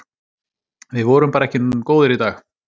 Við vorum bara ekki góðir í dag.